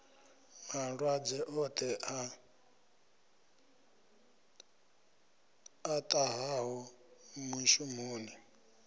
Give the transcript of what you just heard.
malwadze oṱhe a ṱahaho mushumoni